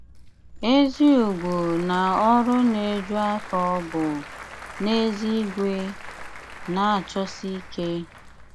Ézí ùgwó ná ọrụ ná-éjú áfó bú, n’ézígwé, ná-chọ́sí íké.